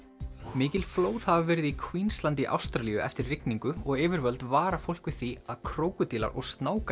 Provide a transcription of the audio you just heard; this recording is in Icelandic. mikil flóð hafa verið í í Ástralíu eftir rigningu og yfirvöld vara fólk við því að krókódílar og